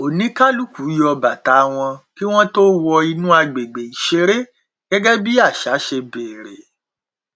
oníkálukú yọ bàtà wọn kí wọn tó wọ inú agbègbè ìṣeré gẹgẹ bí àṣà ṣe bèrè